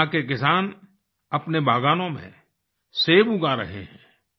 यहाँ के किसान अपने बागानों में सेब उगा रहे हैं